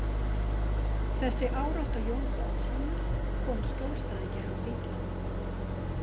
Þessi árátta Jóns Oddssonar kom skjólstæðingi hans illa.